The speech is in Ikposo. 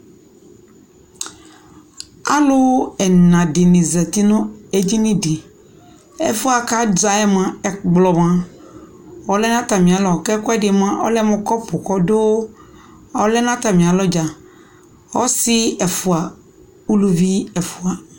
alʋ ɛna dini zati nʋ ɛdinidi, ɛƒʋɛ kʋ azaɛ mʋa, ɛkplɔ mʋa ɔlɛnʋ atami alɔ kʋ ɛkʋɛdi mʋa ɔlɛmʋ kɔpʋ kʋ ɔdʋ ɔlɛnʋ atami alɔ dza, ɔsii ɛƒʋa, ʋlʋvi ɛƒʋa